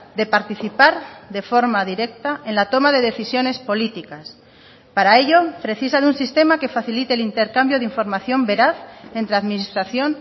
de participar de forma directa en la toma de decisiones políticas para ello precisa de un sistema que facilite el intercambio de información veraz entre administración